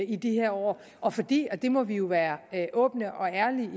i de her år og fordi og det må vi jo være åbne og ærlige